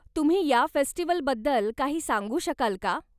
तुम्ही या फेस्टिवलबद्दल काही सांगू शकाल का?